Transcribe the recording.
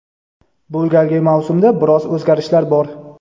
Bu galgi mavsumda biroz o‘zgarishlar bor.